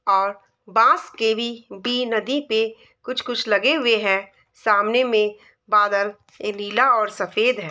और बांस के भी नदी पे कुछ कुछ लगे हुए हैं | सामने में बादल नीला और सफेद है |